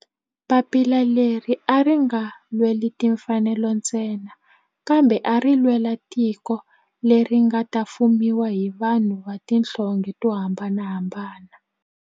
Papila leri a ri nga lweli timfanelo ntsena kambe ari lwela tiko leri nga ta fumiwa hi vanhu va tihlonge to hambanahambana.